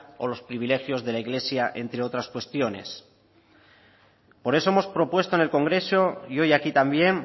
o los privilegios de la iglesia entre otras cuestiones por eso hemos propuesto en el congreso y hoy aquí también